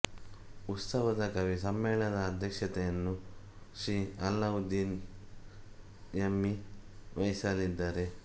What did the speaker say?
ಉತ್ಸವದ ಕವಿ ಸಮ್ಮೇಳನದ ಅಧ್ಯಕ್ಷತೆಯನ್ನು ಶ್ರೀ ಅಲ್ಲಾವುದ್ದೀನ ಯಮ್ಮಿ ವಹಿಸಲಿದ್ದಾರೆ